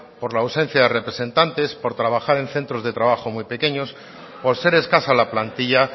por la ausencia de representantes por trabajar en centros de trabajos muy pequeños por ser escasa la plantilla